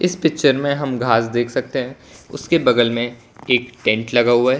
इस पिक्चर में हम घास देख सकते हैं उसके बगल में एक टेंट लगा हुआ है।